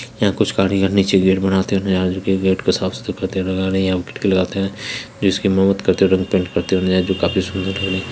यहाँ कुछ कारीगर नीचे गेट बनाते हुए दिखाई दे रहै है गेट को साफ सुथरा करते हुए दिख रहै है जिसकी मरम्मत करते हुए रंग पेंट करते हुए नजर आ रहै है जो काफी सुंदर लग रहा है।